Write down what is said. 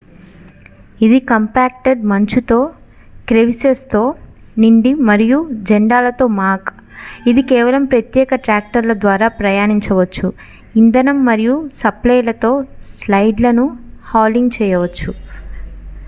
ఇది compacted మంచు తో క్రెవిసెస్ తో నిండి మరియు జెండాలతో మార్క్ ఇది కేవలం ప్రత్యేక ట్రాక్టర్ల ద్వారా ప్రయాణించవచ్చు ఇంధనం మరియు సప్లైలతో స్లెడ్లను హాలింగ్ చేయవచ్చు